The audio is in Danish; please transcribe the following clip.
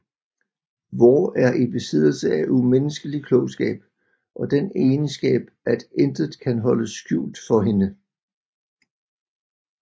Vår er i besiddelse af umenneskelig klogskab og den egenskab at intet kan holdes skjult for hende